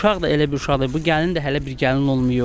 Uşaq da elə bir uşaqdı, bu gəlin də hələ bir gəlin olmayıb.